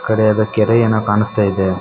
ಕಡೆ ಏನೋ ಕೆರೆ ಯಾವುದು ಕಾಣಿಸ್ತಾ ಇದೆ.